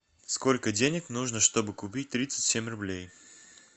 сколько денег нужно чтобы купить тридцать семь рублей